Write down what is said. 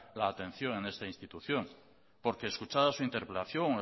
la atención en esta institución porque escuchada su interpelación